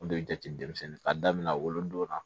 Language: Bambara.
O de bɛ jate denmisɛnnin k'a daminɛ wolodon na